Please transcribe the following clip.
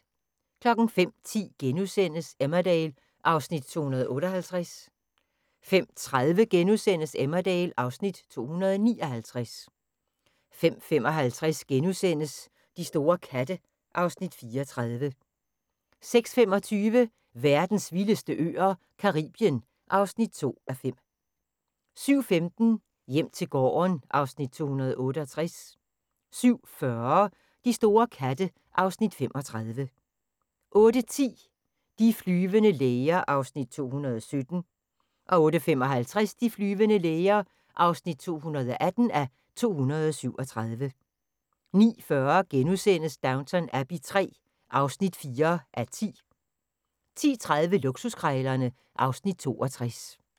05:10: Emmerdale (Afs. 258)* 05:30: Emmerdale (Afs. 259)* 05:55: De store katte (Afs. 34)* 06:25: Verdens vildeste øer - Caribien (2:5) 07:15: Hjem til gården (Afs. 268) 07:40: De store katte (Afs. 35) 08:10: De flyvende læger (217:237) 08:55: De flyvende læger (218:237) 09:40: Downton Abbey III (4:10)* 10:30: Luksuskrejlerne (Afs. 62)